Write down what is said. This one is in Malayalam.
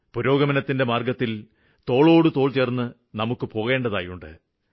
പുരോഗമനത്തിന്റെ മാര്ഗ്ഗത്തില് തോളോടുതോള് ചേര്ന്ന് നമുക്ക് പോകേണ്ടതായിട്ടുണ്ട്